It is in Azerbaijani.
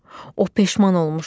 O peşman olmuşdu.